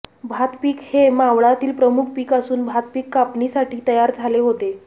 भातपीक हे मावळातील प्रमुख पीक असून भातपीक कापणीसाठी तयार झाले होते